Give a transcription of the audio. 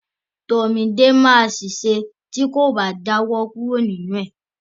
Tomide ma ṣèṣe ti ko ba jawo kuro ninu ẹ.